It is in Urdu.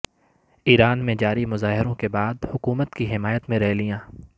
ایران میں جاری مظاہروں کے بعد حکومت کی حمایت میں ریلیاں